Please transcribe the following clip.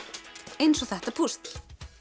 eins og þetta púsl